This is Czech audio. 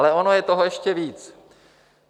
Ale ono je toho ještě víc.